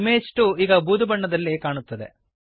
image 2 ಈಗ ಬೂದು ಬಣ್ಣದಲ್ಲಿ ಕಾಣುತ್ತದೆ